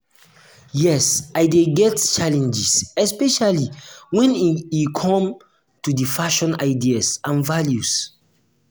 yes i dey get challenges especially when e come to di old-fashioned ideas and values.